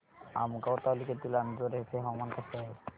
आमगाव तालुक्यातील अंजोर्याचे हवामान कसे आहे